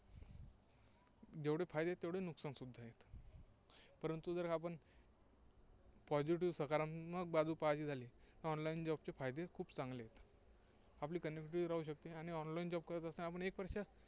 जेवढे फायदे आहेत, तेवढे नुकसानसुद्धा आहेत. परंतु जर आपण positive सकारात्मक बाजू पाहायची झाली तर online job चे फायदे खूप चांगले आहेत. आपली राहू शकते आणि online job करत असताना आपण एक